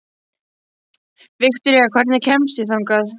Viktoría, hvernig kemst ég þangað?